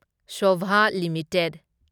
Sobha limited